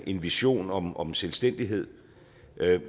en vision om om selvstændighed